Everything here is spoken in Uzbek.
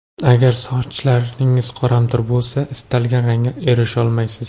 Agar sochlaringiz qoramtir bo‘lsa, istalgan rangga erisholmaysiz.